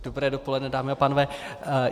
Dobré dopoledne, dámy a pánové.